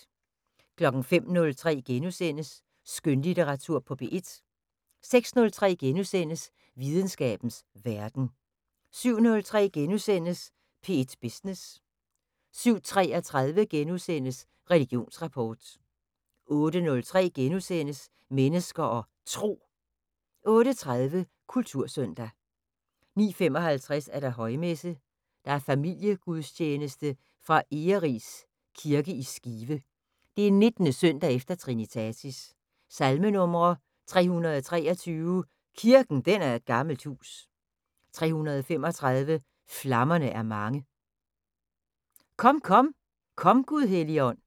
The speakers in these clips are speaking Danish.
05:03: Skønlitteratur på P1 * 06:03: Videnskabens Verden * 07:03: P1 Business * 07:33: Religionsrapport * 08:03: Mennesker og Tro * 08:30: Kultursøndag 09:55: Højmesse - Familiegudstjeneste fra Egeris Kirke i Skive. 19. søndag efter trinitatis. Salmenumre: 323: "Kirken den er et gammelt hus". 335: "Flammerne er mange". "Kom, kom, kom Gud Helligånd".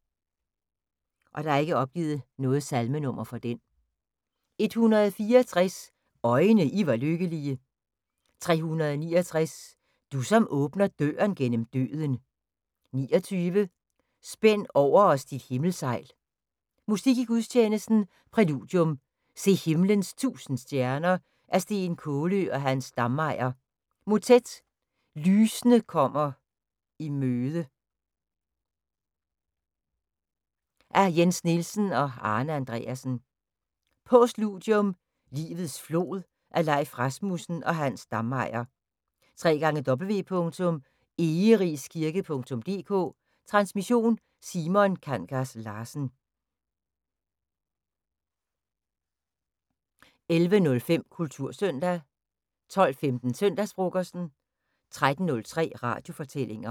164: "Øjne, I var lykkelige". 369: " Du som åbner døren gennem døden". 29: "Spænd over os dit himmelsejl". Musik i gudstjenesten: Præludium: "Se himlens tusind stjerner" af Steen Kaalø og Hans Dammeyer. Motet: "Lysende kommer i møde" af Jens Nielsen og Arne Andreassen. Postludium: "Livets flod" af Leif Rasmussen og Hans Dammeyer. www.egeriskirke.dk Transmission: Simon Kangas Larsen. 11:05: Kultursøndag 12:15: Søndagsfrokosten 13:03: Radiofortællinger